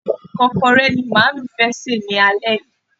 Ìkọ́kọrẹ́ ni màámi fẹ́ sè lálẹ́ yìí.